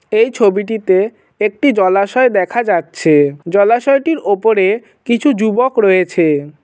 এই ছবিটিতে একটি জলাশয় দেখা যাচ্ছে জলাশয়টির ওপরে কিছু যুবক রয়েছেন।